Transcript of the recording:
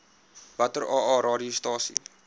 watter aa radiostasies